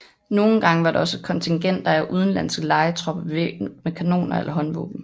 Nogle gange var der også kontingenter af udenlandske lejetropper bevæbnet med kanoner eller håndvåben